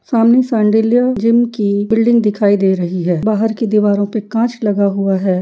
सामने शांडिल्य जिम की बिल्डिंग दिखाई दे रही है। बाहर की दीवारों पे कांच लगा हुआ है।